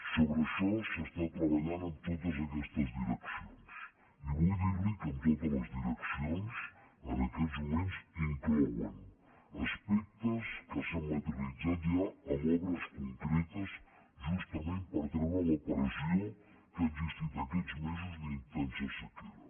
so·bre això s’està treballant en totes aquestes direccions i vull dir·li que totes les direccions en aquests moments inclouen aspectes que s’han materialitzat ja en obres concretes justament per treure la pressió que ha exis·tit aquests mesos d’intensa sequera